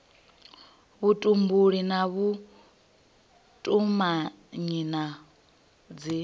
vhutumbuli na vhutumanyi na dzi